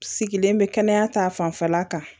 Sigilen bɛ kɛnɛya ta fanfɛla kan